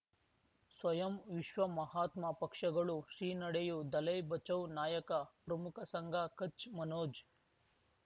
ಸ್ವಯಂ ವಿಶ್ವ ಮಹಾತ್ಮ ಪಕ್ಷಗಳು ಶ್ರೀ ನಡೆಯೂ ದಲೈ ಬಚೌ ನಾಯಕ ಪ್ರಮುಖ ಸಂಘ ಕಚ್ ಮನೋಜ್